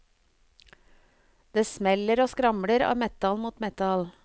Det smeller og skramler av metall mot metall.